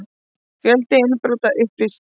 Fjöldi innbrota upplýstur